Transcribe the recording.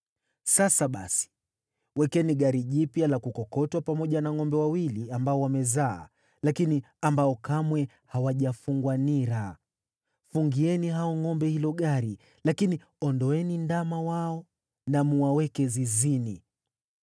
“Sasa basi, wekeni gari jipya la kukokotwa pamoja na ngʼombe wawili ambao wamezaa lakini ambao kamwe hawajafungwa nira. Fungieni hao ngʼombe hilo gari, lakini ondoeni ndama wao na mwaweke zizini.